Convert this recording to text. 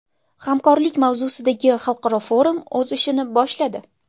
Hamkorlik” mavzusidagi xalqaro forum o‘z ishini boshladi.